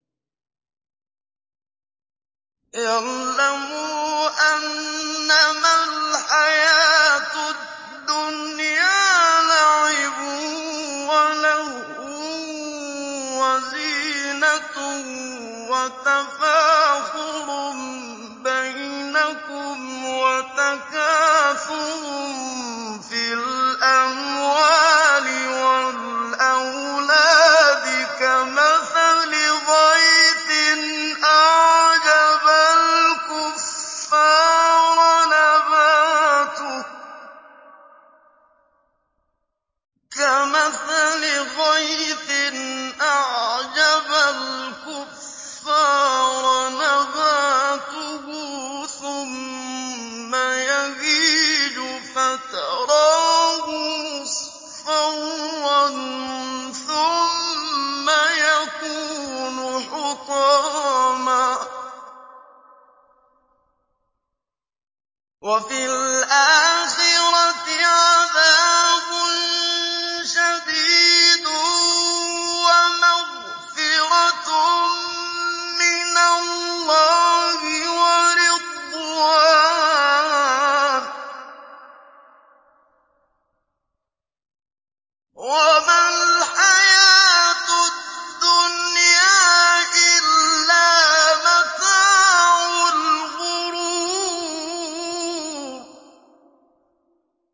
اعْلَمُوا أَنَّمَا الْحَيَاةُ الدُّنْيَا لَعِبٌ وَلَهْوٌ وَزِينَةٌ وَتَفَاخُرٌ بَيْنَكُمْ وَتَكَاثُرٌ فِي الْأَمْوَالِ وَالْأَوْلَادِ ۖ كَمَثَلِ غَيْثٍ أَعْجَبَ الْكُفَّارَ نَبَاتُهُ ثُمَّ يَهِيجُ فَتَرَاهُ مُصْفَرًّا ثُمَّ يَكُونُ حُطَامًا ۖ وَفِي الْآخِرَةِ عَذَابٌ شَدِيدٌ وَمَغْفِرَةٌ مِّنَ اللَّهِ وَرِضْوَانٌ ۚ وَمَا الْحَيَاةُ الدُّنْيَا إِلَّا مَتَاعُ الْغُرُورِ